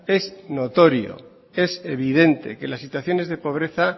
es notorio es evidente que las situaciones de pobreza